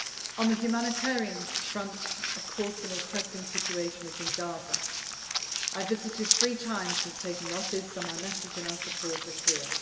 On the humanitarian front, of course, the most pressing situation is in Gaza. I have visited three times since taking office, so my message and our support are